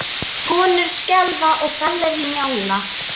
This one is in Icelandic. Konur skelfa og Gallerí Njála.